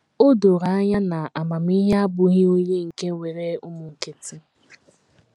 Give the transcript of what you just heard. O doro anya na amamihe abụghị onye nke nwere ụmụ nkịtị!